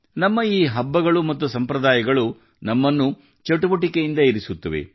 ನಮ್ಮ ಈ ಹಬ್ಬಗಳು ಮತ್ತು ಸಂಪ್ರದಾಯಗಳು ನಮ್ಮನ್ನು ಚಟುವಟಿಕೆಯಿಂದ ಇರಿಸುತ್ತವೆ